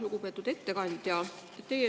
Lugupeetud ettekandja!